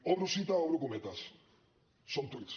obro cita obro cometes són tuits